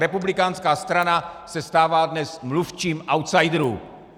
Republikánská strana se stává dnes mluvčím outsiderů!